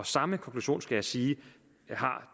samme konklusion skal jeg sige har